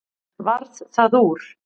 Varð það úr.